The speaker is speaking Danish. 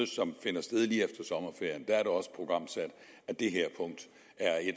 som finder sted lige efter sommerferien er det også programsat